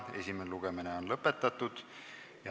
Esimene lugemine on lõpetatud.